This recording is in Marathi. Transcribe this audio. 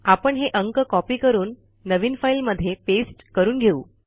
आपण हे अंक कॉपी करून नवीन फाईलमध्ये पेस्ट करून घेऊ